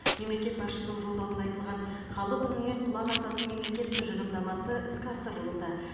мемлекет басшысының жолдауында айтылған халық үніне құлақ асатын мемлекет тұжырымдамасы іске асырылуда